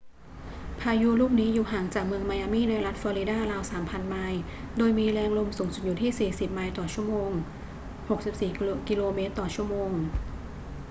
พายุลูกนี้อยู่ห่างจากเมืองไมอามี่ในรัฐฟลอริดาราว 3,000 ไมล์โดยมีแรงลมสูงสุดอยู่ที่ 40 ไมล์/ชม. 64 กม./ชม.